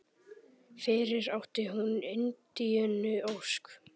Fyrir átti hún Indíönu Ósk.